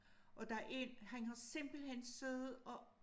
Og der er en han har simpelthen siddet og